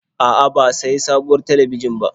A'a, ba sayi sabuwar talabijin ba.